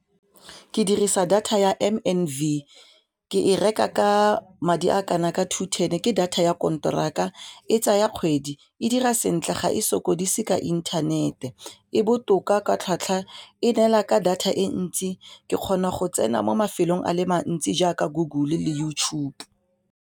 Ke dirisa data ya M_N_V ke e reka ka madi a kana ka two ten ke data ya konteraka e tsaya kgwedi e dira sentle ga e sokodise ka inthanete e botoka ka tlhwatlhwa, e neela ka data e ntsi ke kgona go tsena mo mafelong a le mantsi jaaka Google le YouTube.